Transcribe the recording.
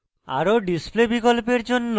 আরো display বিকল্পের জন্য